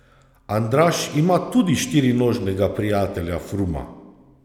Andraž ima tudi štirinožnega prijatelja Fruma.